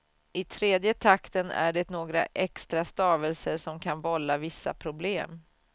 I tredje takten är det några extra stavelser som kan vålla vissa problem.